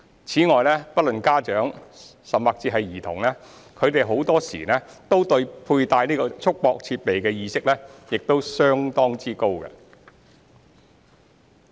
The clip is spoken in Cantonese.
此外，不論家長、甚至是兒童，他們很多都對佩戴束縛設備的意識亦相當高。